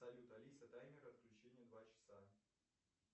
салют алиса таймер отключения два часа